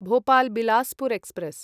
Bhopal Bilaspur express